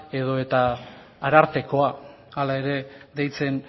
edo eta arartekoa hala ere deitzen